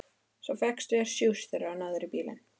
Svo fékkstu þér sjúss þegar þú náðir í bílinn.